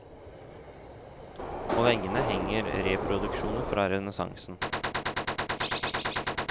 På veggene henger reproduksjoner fra renessansen.